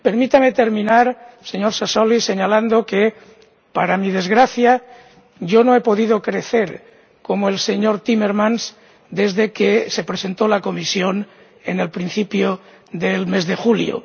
Permítame terminar, señor Sassoli, señalando que, para mi desgracia, yo no he podido crecer como el señor Timmermans, desde que se presentó la Comisión a principios del mes de julio.